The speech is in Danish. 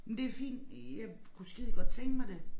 Men det fint jeg kunne skidegodt tænke mig det